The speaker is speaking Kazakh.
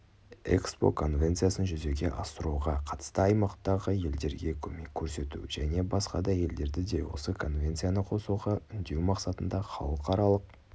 экспо конвенциясын жүзеге асыруға қатысты аймақтағы елдерге көмек көрсету және басқа елдерді де осы конвенцияны қосуға үндеу мақсатында халықаралық